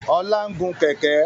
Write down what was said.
Ọlá ń gùn Kẹ̀kẹ́